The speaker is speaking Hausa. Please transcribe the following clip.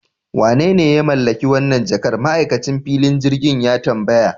Wanene ya mallaki wannan jakar? ma'aikacin filin jirgin ya tambaya